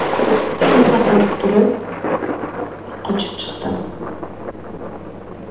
Shu zahoti turib, qochib chiqdim.